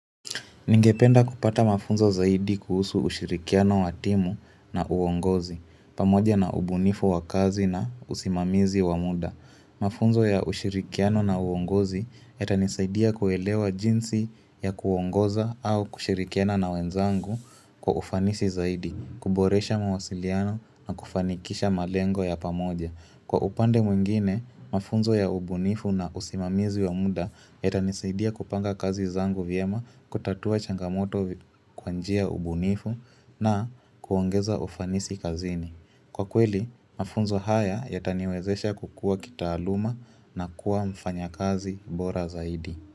Ningependa kupata mafunzo zaidi kuhusu ushirikiano wa timu na uongozi, pamoja na ubunifu wa kazi na usimamizi wa muda. Mafunzo ya ushirikiano na uongozi yatanisaidia kuelewa jinsi ya kuongoza au kushirikiana na wenzangu kwa ufanisi zaidi, kuboresha mawasiliano na kufanikisha malengo ya pamoja. Kwa upande mwingine, mafunzo ya ubunifu na usimamizi wa muda yatanisaidia kupanga kazi zangu vyema kutatua changamoto kwa njia ubunifu na kuongeza ufanisi kazini. Kwa kweli, mafunzo haya yataniwezesha kukua kitaaluma na kuwa mfanyakazi bora zaidi.